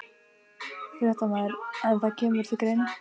Fréttamaður: En það kemur til greina?